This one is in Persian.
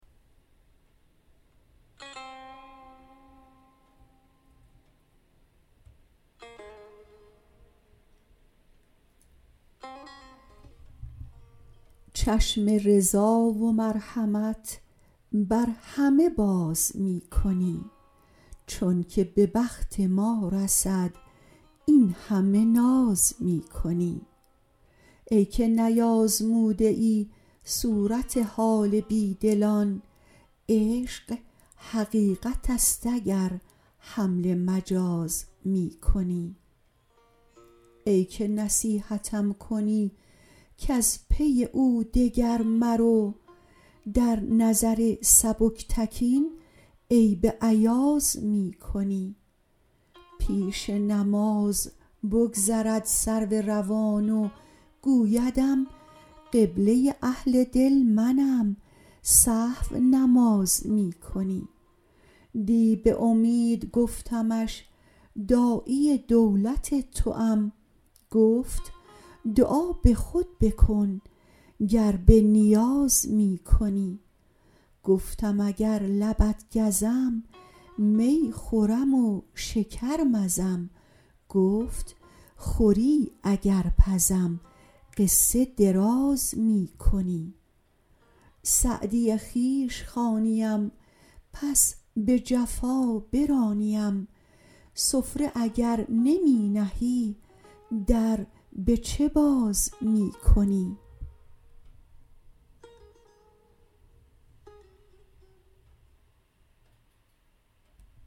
چشم رضا و مرحمت بر همه باز می کنی چون که به بخت ما رسد این همه ناز می کنی ای که نیآزموده ای صورت حال بی دلان عشق حقیقت است اگر حمل مجاز می کنی ای که نصیحتم کنی کز پی او دگر مرو در نظر سبکتکین عیب ایاز می کنی پیش نماز بگذرد سرو روان و گویدم قبله اهل دل منم سهو نماز می کنی دی به امید گفتمش داعی دولت توام گفت دعا به خود بکن گر به نیاز می کنی گفتم اگر لبت گزم می خورم و شکر مزم گفت خوری اگر پزم قصه دراز می کنی سعدی خویش خوانیم پس به جفا برانیم سفره اگر نمی نهی در به چه باز می کنی